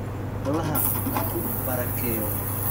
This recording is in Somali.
Allaha ku barakeeyo